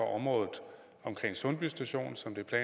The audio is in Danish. området omkring sundby station